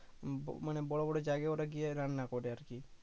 মানে বড় বড় জায়গায় ওরা গিয়ে রান্না করে আরকি